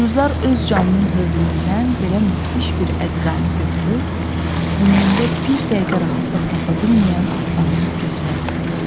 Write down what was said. Gülzar öz canının hövlüyündən belə müdhiş bir əczanı götürüb ömründə bir dəqiqə rahatlıq tapa bilməyən Aslanın gözünə atdı.